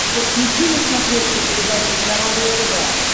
подключи на смотрешке передачу здоровое тв